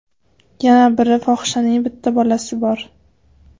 Yana biri fohishaning bitta bolasi bor.